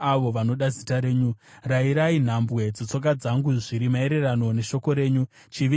Rayirai nhambwe dzetsoka dzangu zviri maererano neshoko renyu; chivi ngachirege kunditonga.